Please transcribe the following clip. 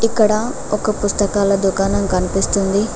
ఇక్కడ ఒక పుస్తకాల దుకాణం కనిపిస్తుంది.